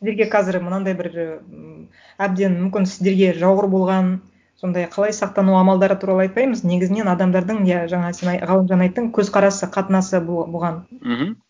сіздерге қазір мынандай бір м әбден мүмкін сіздерге жауыр болған сондай қалай сақтану амалдары туралы айтпаймыз негізінен адамдардың иә жаңа сен ғалымжан айттың көзқарасы қатынасы бұған мхм